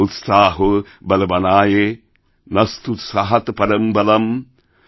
উৎসাহোবলবানায়ে নাস্তুৎসাহাৎপরম্ বলম্